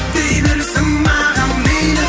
дей берсін маған мейлі